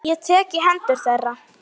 Ég tek í hendur þeirra.